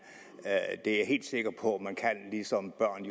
det er jeg helt sikker på at man kan ligesom børn